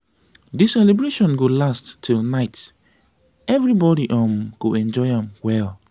we dey have fun with traditional music; e dey make our heart glad.